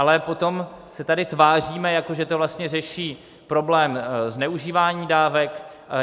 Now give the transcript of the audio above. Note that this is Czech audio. Ale potom se tady tváříme, jako že to vlastně řeší problém zneužívání dávek.